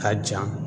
Ka ja